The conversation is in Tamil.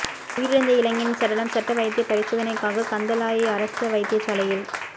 உயிரிழந்த இளைஞனின் சடலம் சட்ட வைத்திய பரிசோதனைக்காக கந்தளாய் அரச வைத்தியசாலையில்